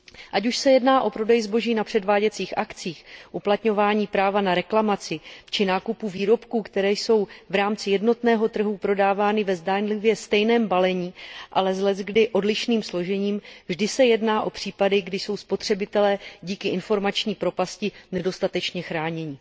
Ať už se jedná o prodej zboží na předváděcích akcích, uplatňování práva na reklamaci či nákup výrobků, které jsou v rámci jednotného trhu prodávány ve zdánlivě stejném balení, ale s leckdy odlišným složením, vždy se jedná o případy, kdy jsou spotřebitelé díky informační propasti nedostatečně chráněni.